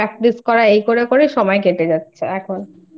Practice করা এই করে করে সময় কেটে যাচ্ছে এখনI